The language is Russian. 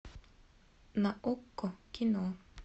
на окко кино